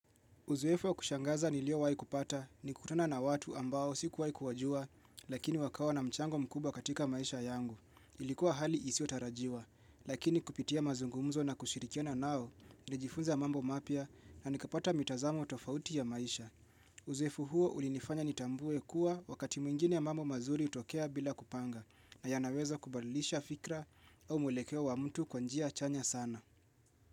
Uzoefu wa kushangaza niliyowahi kupata, ni kukutana na watu ambao siku wahi kuwajua, lakini wakawa na mchango mkuba katika maisha yangu. Ilikuwa hali isiyo tarajiwa, lakini kupitia mazungumzo na kushirikia nao, nilijifunza mambo mapya na nikapata mitazamo tofauti ya maisha. Uzoefu huo ulinifanya nitambue kuwa wakati mwingine mambo mazuri utokea bila kupanga, na yanaweza kubalisha fikra au mweleke wa mtu kwa njia chanya sana.